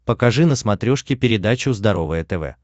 покажи на смотрешке передачу здоровое тв